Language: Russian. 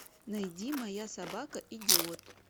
найди моя собака идиот